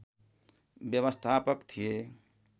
व्यवस्थापक थिए